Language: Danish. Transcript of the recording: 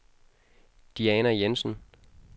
Diana Jensen